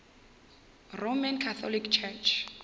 roman catholic church